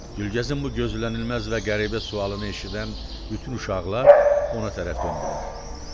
Gülgəzin bu gözlənilməz və qəribə sualını eşidən bütün uşaqlar ona tərəf döndülər.